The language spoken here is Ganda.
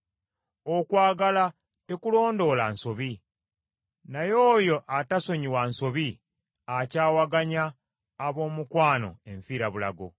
Okwagala tekulondoola nsobi, naye oyo atasonyiwa nsobi akyawaganya ab’omukwano enfirabulago.